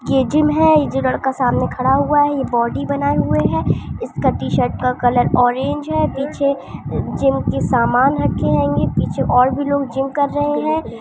ये जिम है ये जो लड़का सामने खड़ा हुआ है ये बॉडी बनाये हुए है इसका टी-शर्ट का ऑरेंज है पीछे जिम की सामान रखी जायेगी पीछे और भी लोग जिम कर रहे है।